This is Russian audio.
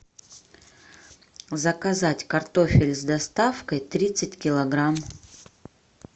заказать картофель с доставкой тридцать килограмм